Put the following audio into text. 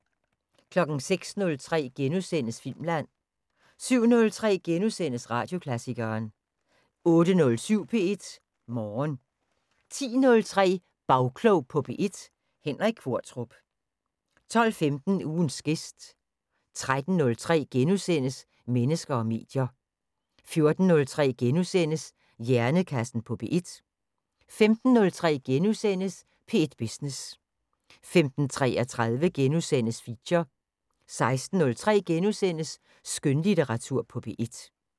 06:03: Filmland * 07:03: Radioklassikeren * 08:07: P1 Morgen 10:03: Bagklog på P1: Henrik Qvortrup 12:15: Ugens gæst 13:03: Mennesker og medier * 14:03: Hjernekassen på P1 * 15:03: P1 Business * 15:33: Feature * 16:03: Skønlitteratur på P1 *